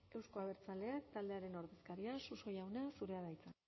euzko abertzaleak taldearen ordezkaria suso jauna zurea da hitza